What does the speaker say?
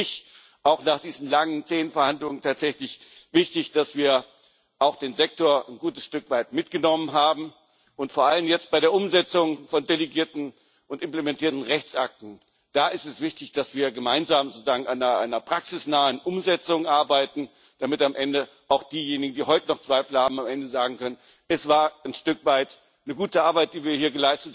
Das ist für mich auch nach diesen langen zähen Verhandlungen tatsächlich wichtig, dass wir auch den Sektor ein gutes Stück weit mitgenommen haben, und vor allem jetzt, bei der Umsetzung von delegierten Rechtsakten und Durchführungsrechtsakten, ist es wichtig, dass wir gemeinsam sozusagen an einer praxisnahen Umsetzung arbeiten, damit am Ende auch diejenigen, die heute noch Zweifel haben, sagen können Es war ein Stück weit eine gute Arbeit, die wir hier